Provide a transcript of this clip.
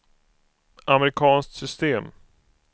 amerikanskt system